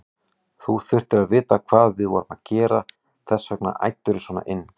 Þú þurftir að vita hvað við vorum að gera, þess vegna æddirðu svona inn.